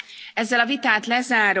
A vitát lezárom.